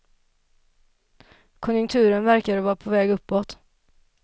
Konjunkturen verkade vara på väg uppåt.